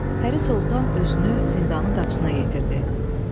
Pəri Soltan özünü zindanın qapısına yetirdi.